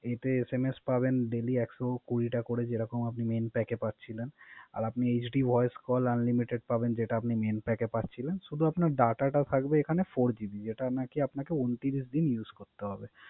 এতে SMS পাবেন Daily একশো কুড়িটা করে। যেরক আপনি Main pack পাচ্ছিলেন। আর HD voice call unlimited পাবেন। যে আপনি Main pack পাচ্ছিলেন। শুদু Data থাকবে এখানে Four GB যেটা আপনাকে ঊনত্রিশ Use করতে হবে।